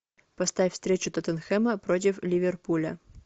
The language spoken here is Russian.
поставь встречу тоттенхэма против ливерпуля